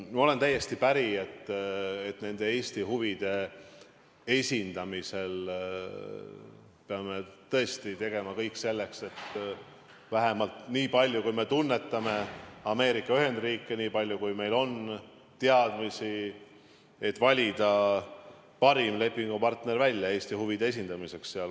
Ma olen täiesti päri, et Eesti huvide kaitsmisel me peame tõesti tegema kõik selleks, et – vähemalt nii palju, kui me tunnetame Ameerika Ühendriike, nii palju, kui meil on teadmisi – valida välja parim lepingupartner Eesti huvide kaitsmiseks.